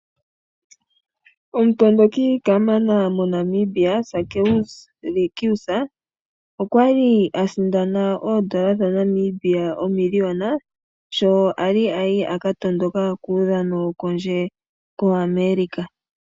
Omutondoki kamana moNamibia Sakeus Likius okwa li asindana oondola dhaNamibia omiliona sho kwali aya aka tondoka kuudhano wo kondje koAmerica.